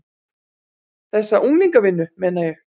Þessa unglingavinnu, meina ég.